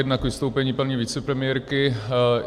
Jedna k vystoupení paní vicepremiérky.